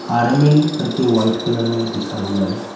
RML white colour में लिखा हुआ है।